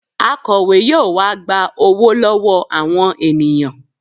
Akọ̀we yóò wá gba owó lọ́wọ́ àwọn ènìyàn